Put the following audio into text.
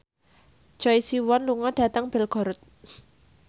Choi Siwon lunga dhateng Belgorod